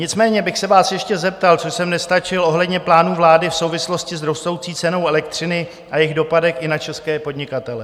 Nicméně bych se vás ještě zeptal, co jsem nestačil ohledně plánu vlády v souvislosti s rostoucí cenou elektřiny a jejím dopadem i na české podnikatele.